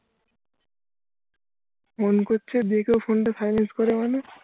phone করছে দেখেও phone টা silent করে মানে